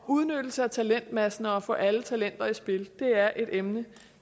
udnyttelse af talentmassen og det at få alle talenter i spil er et emne